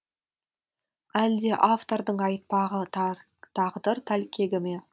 әлде автордың айтпағы тағдыр тәлкегі ме